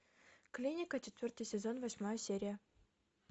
клиника четвертый сезон восьмая серия